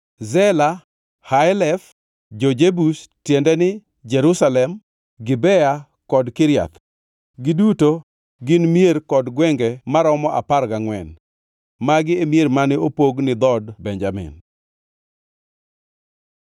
Zela, Haelef, jo-Jebus (tiende ni, Jerusalem), Gibea kod Kiriath. Giduto ne gin mier kod gwenge maromo apar gangʼwen. Magi e mier mane opog ni dhood Benjamin.